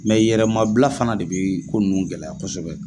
yɛrɛmabila fana de be ko nunnu gɛlɛya kosɛbɛ